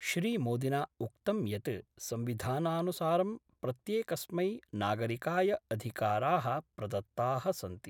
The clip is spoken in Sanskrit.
श्रीमोदिना उक्तं यत् संविधानानुसारं प्रत्येकस्मै नागरिकाय अधिकाराः प्रदत्ता: सन्ति।